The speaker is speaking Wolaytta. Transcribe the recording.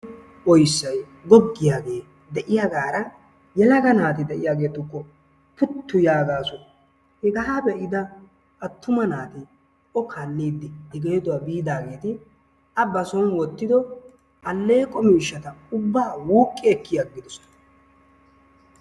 Oysay gogiyage deiayagara yelaga naati deiagetukko puttu yaagasu. Hegaa beida attuma naati o kaalidi i geeduwaa biidageti a basoon wottido alleeqo miishshata ubba wuqqi ekkiyagidosona.